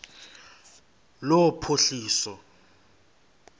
lophuhliso